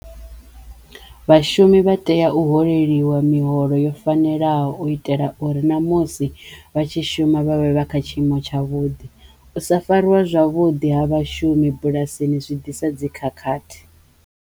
Vhashumi vha teya u holeliwa miholo yo fanelaho u itela uri na musi vha tshi shuma vha vhe vha kha tshiimo tsha vhuḓi. U sa fariwe zwavhudi ha vhashumi bulasini zwi ḓisa dzi khakhathi.